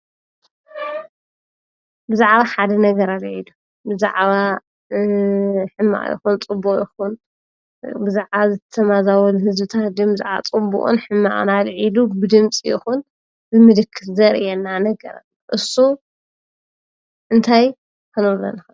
ብዛዕባ ሓደ ነገር ኣልዕሉ ብዛዕባ ሕማቅ ይኹን ፀቡቅ ይኹን ብዛዕባ ዝተማዛበሉ ህዝብታት ብዛዕባ ፅቡቅን ሕማቅን ኣልዕሉ ብድምፂ ይኹን ብምልክት ዘሪኤና ነገር እሱ እንታይ ክንብሎ ንኽእል?